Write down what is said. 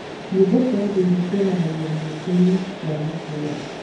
Nyĩmbo cia ũndũire cioanangio thigũkũ-inĩ cia matũũra.